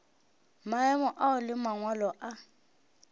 maemo ao le mangwalo a